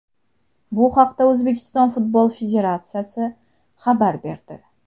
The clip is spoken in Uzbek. Bu haqda O‘zbekiston Futbol federatsiyasi xabar berdi .